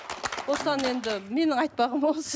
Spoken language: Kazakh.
осыдан енді менің айтпағым осы